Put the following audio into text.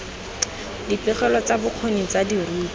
dipegelo tsa bokgoni tsa dirutwa